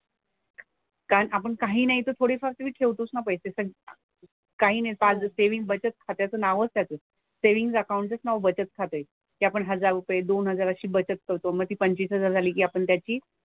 कारण आपण काही नाही तर थोडीफार तरी ठेवतोच ना पैसे तर. काही नाही साधं सेव्हिन्ग बचत खात्याचं नावच त्याचं. सेव्हिन्ग अकाउंट चंच नाव बचत खातं आहे. ते आपण हजार रुपये, दोन हजार अशी बचत करतो. मग ती पंचवीस हजार झाली की आपण त्याची,